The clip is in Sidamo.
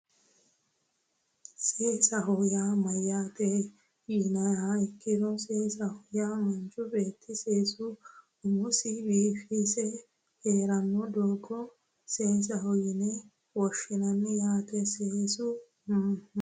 seesaho yaa mayyaate yiniha ikkiro seesaho yaa manchu beetti seese umosi biife heeranno doogo seesaho yine woshshinanni yaate seesu ma